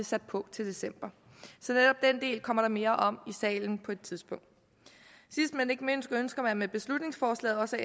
sat på til december så netop den del kommer der mere om i salen på et tidspunkt sidst men ikke mindst ønsker man med beslutningsforslaget også af